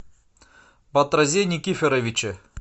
батразе никифоровиче